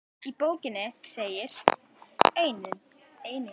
Í bókinni segir einnig